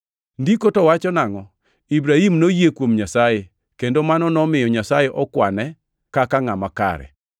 Ndiko to wacho nangʼo? “Ibrahim noyie kuom Nyasaye, kendo mano nomiyo Nyasaye okwane kaka ngʼama kare.” + 4:3 \+xt Chak 15:6\+xt*